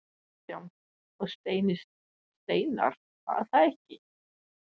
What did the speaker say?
Kristján: Og Steini Steinarr var það ekki?